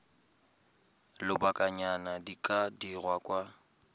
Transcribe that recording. lobakanyana di ka dirwa kwa